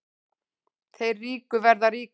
Þeir ríku verða ríkari